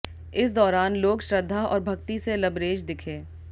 इस दौरान लोग श्रद्धा और भक्ति से लबरेज दिखे